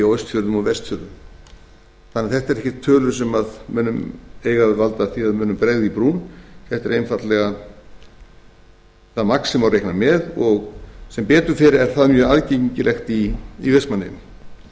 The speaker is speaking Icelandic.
og vestfjörðum þannig að þetta eru ekki tölur sem eiga að valda því að mönnum bregði í brún þetta eru einfaldlega það magn sem má reikna með og sem betur fer er það mjög aðgengilegt í vestmannaeyjum möguleikarnir